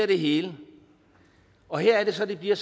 det hele og her er det så at det bliver